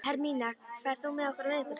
Hermína, ferð þú með okkur á miðvikudaginn?